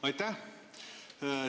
Aitäh!